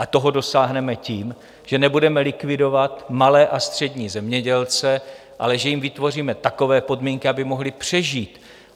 A toho dosáhneme tím, že nebudeme likvidovat malé a střední zemědělce, ale že jim vytvoříme takové podmínky, aby mohli přežít.